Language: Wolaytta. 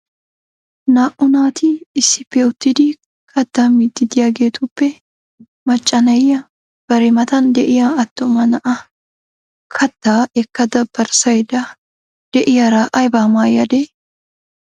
Naa''u naati issippe uttidi kattaa miidi de'iyaageetuppe macca na'iyaa bari matan de'iyaa attuma na'aa kattaa ekkada barssaydda de'iyaara aybba maayyade?